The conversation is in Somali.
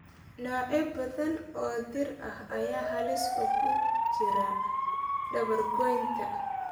Noocyo badan oo dhir ah ayaa halis ugu jira dabar goynta.